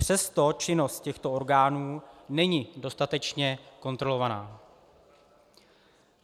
Přesto činnost těchto orgánů není dostatečně kontrolovaná.